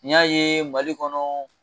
N y'a ye Mali kɔnɔ